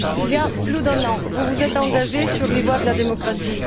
Il y a plus d'un an, vous vous êtes engagés sur les voies de la démocratie.